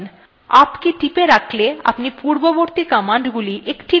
up key টিপে রাখলে আপনি পূর্ববর্তী commandsগুলি একটির পর আরেকটি দেখতে পাবেন